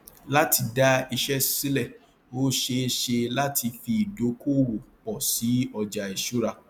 láti dá iṣẹ sílẹ ó ṣeé ṣe láti fi ìdókóòwò pọ sí ọjà ìṣura